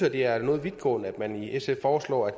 at det er noget vidtgående at man i sf foreslår at